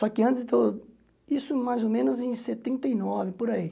Só que antes, isso mais ou menos em setenta e nove, por aí.